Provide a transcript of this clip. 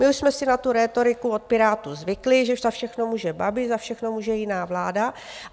My už jsme si na tu rétoriku od Pirátů zvykli, že za všechno může Babiš, za všechno může jiná vláda.